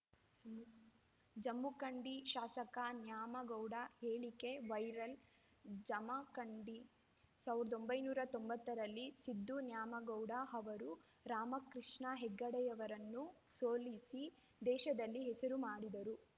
ಜಮಖಂಡಿ ಶಾಸಕ ನ್ಯಾಮಗೌಡ ಹೇಳಿಕೆ ವೈರಲ್‌ ಜಮಖಂಡಿ ಸಾವಿರದ ಒಂಬೈನೂರ ತೊಂಬತ್ತರಲ್ಲಿ ಸಿದ್ದು ನ್ಯಾಮಗೌಡ ಅವರು ರಾಮಕೃಷ್ಣ ಹೆಗಡೆಯವರನ್ನು ಸೋಲಿಸಿ ದೇಶದಲ್ಲಿ ಹೆಸರು ಮಾಡಿದ್ದರು